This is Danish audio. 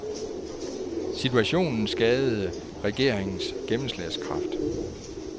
Situationen skadede den regeringens gennemslagskraft.